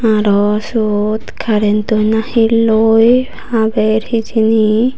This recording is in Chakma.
aro seyot karrentor na he loi haber hejini.